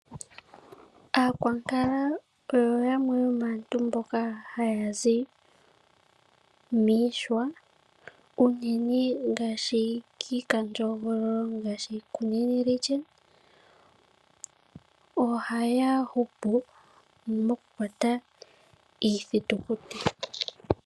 Aakwankala oyo yamwe yomaantu mboka haya zi miihwa uunene ngaashi kiikandjo hogololo ngaashi Kunene region ohaya hupu mokukwata iithitukutu.